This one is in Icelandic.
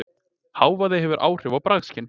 Hávaði hefur áhrif á bragðskyn